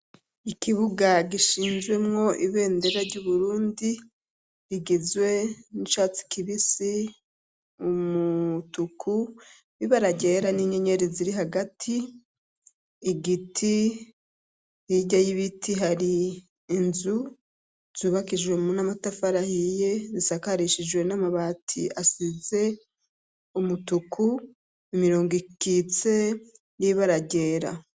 Ikibuga gishinjwemwo ibendera ry'uburundi igizwe n'icatsi kibisi umutuku bibe aragyera n'inyenyeri ziri hagati igiti irya y'ibiti hari inzu zubakijwe mu n'amatafarahiye zisakarishijwe n'amabati asize umutuku imirongo ikitse n'ibe aragera.